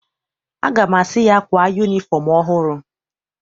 Aga m asị ya, kwaa yunifọm ọhụrụ!